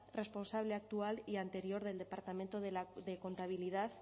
responsable actual y anterior del departamento de contabilidad